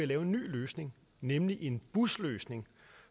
lave en ny løsning nemlig en busløsning